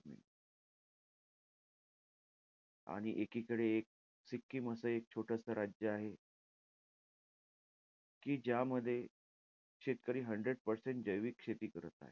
आणि एकीकडे एक सिक्कीम असं एक छोटंसं राज्य आहे. कि ज्यामध्ये शेतकरी hundered percent जैविक शेती करत आहे.